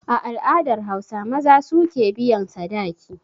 A al'adar Hausa, maza su ke biyan sadaki.